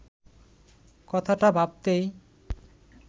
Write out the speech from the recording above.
কথাটা ভাবতেই